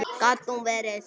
Gat nú verið